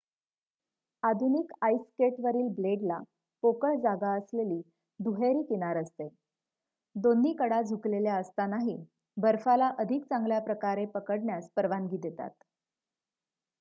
आधुनिक आईस स्केटवरील ब्लेडला पोकळ जागा असलेली दुहेरी किनार असते दोन्ही कडा झुकलेल्या असतानाही बर्फाला अधिक चांगल्याप्रकारे पकडण्यास परवानगी देतात